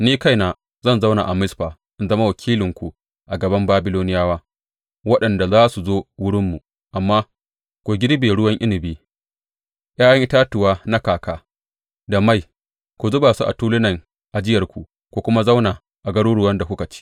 Ni kaina zan zauna a Mizfa in zama wakilinku a gaban Babiloniyawa waɗanda za su zo wurinmu, amma ku girbe ruwan inabi, ’ya’yan itatuwa na kaka, da mai, ku zuba su a tulunan ajiyarku, ku kuma zauna a garuruwan da kuka ci.